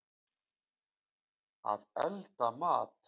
Að elda mat.